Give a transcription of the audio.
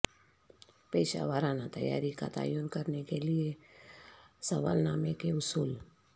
پیشہ ورانہ تیاری کا تعین کرنے کے لئے سوالنامہ کے اصول